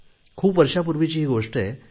खूप वर्षांपूर्वीची ही गोष्ट आहे